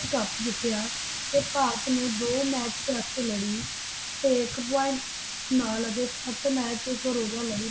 Cup ਜਿਤਿਆ ਤੇ ਭਾਰਤੀ ਨੇ ਦੋ Match Test ਲੜੀ ਤੇ ਇਕ Point ਨਾਲ ਅਤੇ ਸੱਤ Match ਅਤੇ ਇਕ ਰੋਜਾ ਲੜੀ